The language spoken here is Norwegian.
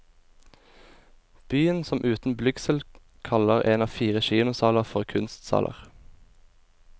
Byen som uten blygsel kaller en av fire kinosaler for kunstsaler.